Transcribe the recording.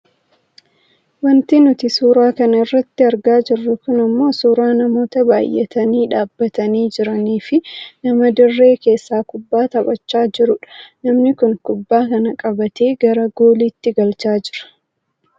Wanti nuti suuraa kana irratti argaa jirru kun ammoo suuraa namoota baayyatanii dhaabbatanii jiranii fi nama dirree keessaa kubbaa taphachaa jiruudha. Namni kun kubbaa kana qabatee gara gooliitti galchaa jira.